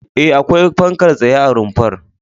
E, akwai fankar tsaye a rumfar.